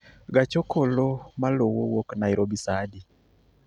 Gach okolo maluwo wuok nairobi saa adi